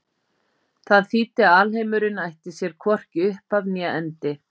Það þýddi að alheimurinn ætti sér hvorki upphaf né endi.